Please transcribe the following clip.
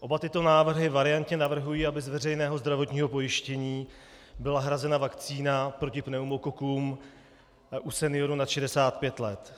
Oba tyto návrhy variantně navrhují, aby z veřejného zdravotního pojištění byla hrazena vakcína proti pneumokokům u seniorů nad 65 let.